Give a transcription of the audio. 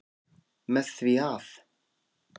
Með því að.